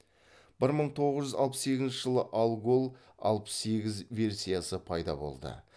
бір мың тоғыз жүз алпыс сегізінші жылы алгол алпыс сегіз версиясы пайда болды